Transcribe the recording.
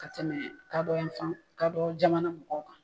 Ka tɛmɛ kadɔ yan fan, kadɔ jamana mɔgɔw kan.